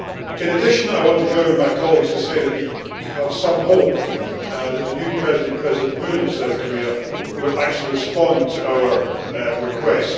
In addition, I want to join with my colleagues to say that we have some hope that the new president, President Moon of South Korea, will actually respond to our request.